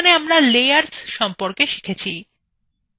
এখানে আমরা layers সম্পর্কে শিখেছি